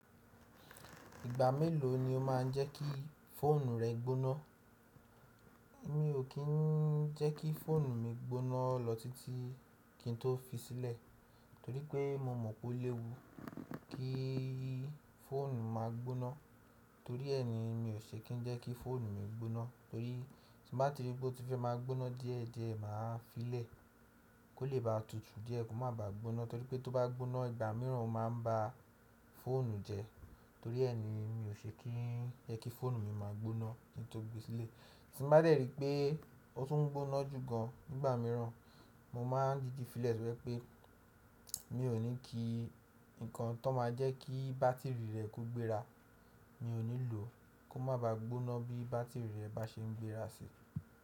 Ìgbà mélòó ni o máa ń jẹ́ kí fóònù rẹ gbóná? Mi ò kí ń jẹ́ kí fóònù mi gbóná lọ títí kí n tó fi sílẹ̀, torí pé mo mọ̀ pé ó léwu kí fóònù má a gbóná. Torí ẹ ni mi ò ṣe kí ń jẹ́ kí fóònù mi gbóná, torí tí bá ti ríi pé ó ti fẹ́ má a gbóná díẹ̀ díẹ̀, mà á fi lẹ̀ kó lè ba tutù díẹ̀ kó má ba gbóná. Torí pé tó bá gbóná ìgbà mìíràn, ó máa ń ba fóònù jẹ. Torí ẹ ni mi ò ṣe kí ń jẹ́ kí fóònù mi má a gbóná tí n tó gbe sílẹ̀. Tí n bá dẹ́ rí pé ó tún ń gbóná jù gan nìgbà mìíràn, mo máa di di fílẹ̀ to jẹ pé mi ò ní kí nǹkan tó máa jẹ́ kí bátìrì rẹ̀ ko gbéra, mi ò ní lò ó kó má ba gbóná bí bátìrì rẹ bá ṣe ń gbéra sí.